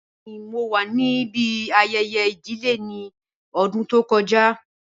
Bẹẹni mo wa nibi ayẹyẹ idile ni ọdun to kọja.